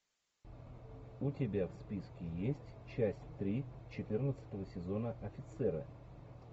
у тебя в списке есть часть три четырнадцатого сезона офицеры